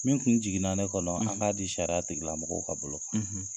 Fɛnfnɛ jiginna ne kɔnɔ an k'a di sariya tigilamɔgɔw ka bolo